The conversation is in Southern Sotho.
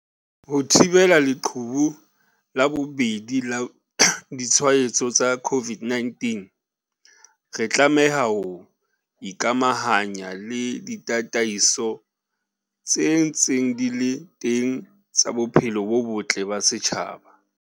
Ho thibela leqhubu la bobedi la ditshwaetso tsa COVID-19, re tlameha ho ikamahanya le ditataiso tse ntseng di le teng tsa bophelo bo botle ba setjhaba.